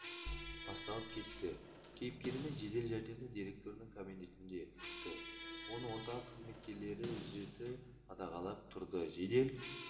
басталып кетті кейіпкеріміз жедел жәрдемді директорының кабинетінде күтті оны орталық қызметкерлері жіті қадағалап тұрды жедел